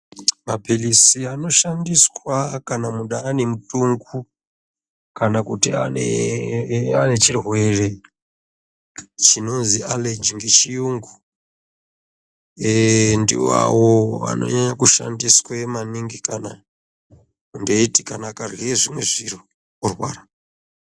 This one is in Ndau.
Mapiritsi anoshandiswa kana muntu ane mutumbu kana kuti ane chirwere chinonzi allergy ngechiyungu eeh ndiwawo anonyanya kushandiswe maningi kana ndeiti kana akarye zvimwe zviro orwara